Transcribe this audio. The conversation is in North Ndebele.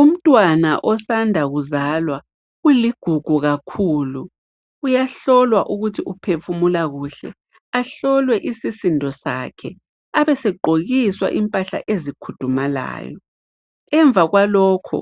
Umntwana osanda kuzalwa uligugu kakhulu, uyahlolwa ukuthi uphefumula kuhle, ahlolwe isisindo sakhe abesegqokiswa impahla ezikhudumalayo. Emva kwalokhu